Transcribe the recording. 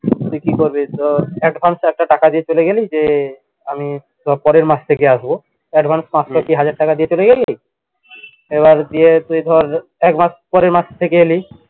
তুই কি করবি ধর advance টাকা দিয়ে চলে গেলি যে আমি পরের মাস থেকে আসবো advance পাঁচশো কি হাজার টাকা দিয়ে চলে গেলি এবার দিয়ে তুই ধর একমাস পরের মাস থেকে এলি